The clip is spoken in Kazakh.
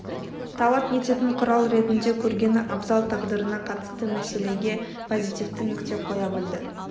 талап ететін құрал ретінде көргені абзал тағдырына қатысты мәселеге позитивті нүкте қоя білді